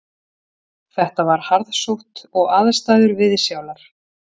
Þetta var harðsótt og aðstæður viðsjálar